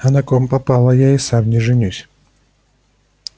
а на ком попало я и сам не женюсь